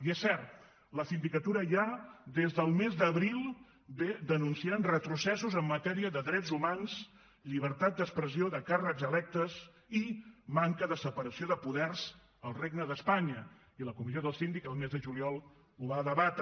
i és cert la sindicatura ja des del mes d’abril denuncia retrocessos en matèria de drets humans llibertat d’expressió de càrrecs electes i manca de separació de poders al regne d’espanya i la comissió del síndic al mes de juliol ho va debatre